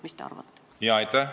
Mis te arvate?